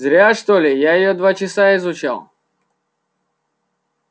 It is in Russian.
зря что ли я её два часа изучал